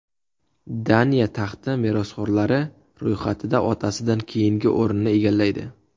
Daniya taxti merosxo‘rlari ro‘yxatida otasidan keyingi o‘rinni egallaydi.